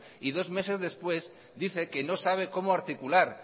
y dos meses después dice que no sabe cómo articular